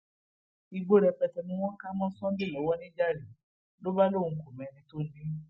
igbó rẹpẹtẹ ni wọn kà mọ sunday lọwọ nìjàre ló bá lóun kò mẹni tó ni ín